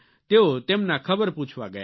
તેઓ તેમના ખબર પૂછવા ગયા